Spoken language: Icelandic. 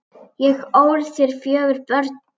Ég ól þér fjögur börn.